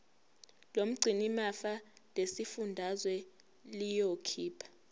lomgcinimafa lesifundazwe liyokhipha